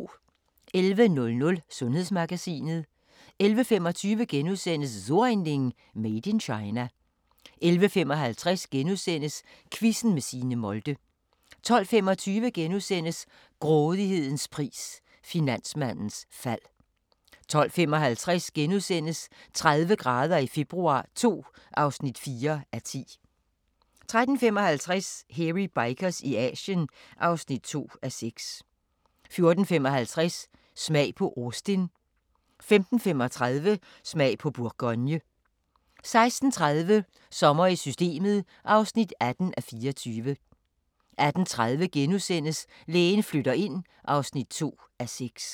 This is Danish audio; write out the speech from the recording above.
11:00: Sundhedsmagasinet 11:25: So ein Ding: Made in China * 11:55: Quizzen med Signe Molde * 12:25: Grådighedens pris – Finansmandens fald * 12:55: 30 grader i februar II (4:10)* 13:55: Hairy Bikers i Asien (2:6) 14:55: Smag på Austin 15:35: Smag på Bourgogne 16:30: Sommer i Systemet (18:24) 18:30: Lægen flytter ind (2:6)*